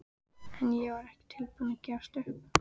En ég var ekki tilbúin að gefast upp.